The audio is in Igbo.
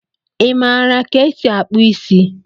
Imara ka esi akpụ isi?